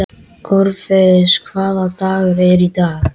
Orfeus, hvaða dagur er í dag?